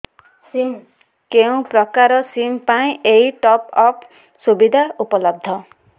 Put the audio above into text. କେଉଁ ପ୍ରକାର ସିମ୍ ପାଇଁ ଏଇ ଟପ୍ଅପ୍ ସୁବିଧା ଉପଲବ୍ଧ